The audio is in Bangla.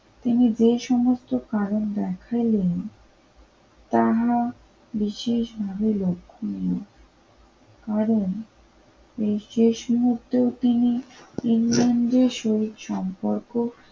তিনি যে সমস্ত কারণ দেখাইলেন তারা বিশেষভাবে লক্ষ্য নিয়ে কারণ শেষ মুহূর্তেও তিনি যে শরীর সম্পর্ক